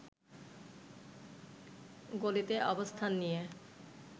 গলিতে অবস্থান নিয়ে